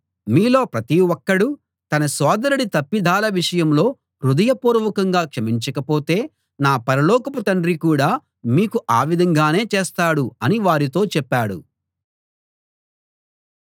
మీలో ప్రతి ఒక్కడూ తన సోదరుడి తప్పిదాల విషయంలో హృదయపూర్వకంగా క్షమించకపోతే నా పరలోకపు తండ్రి కూడా మీకు ఆ విధంగానే చేస్తాడు అని వారితో చెప్పాడు